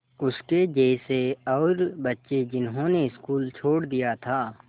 उसके जैसे और बच्चे जिन्होंने स्कूल छोड़ दिया था